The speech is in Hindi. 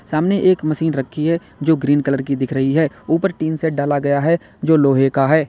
सामने एक मशीन रखी है जो ग्रीन कलर की दिख रही है ऊपर टीन सेड डाला गया है जो लोहे का है।